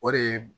O de ye